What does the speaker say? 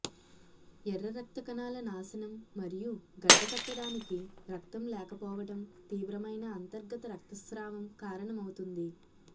ఎర్ర రక్త కణాల నాశనం మరియు గడ్డకట్టడానికి రక్తం లేకపోవటం తీవ్రమైన అంతర్గత రక్తస్రావం కారణమవుతుంది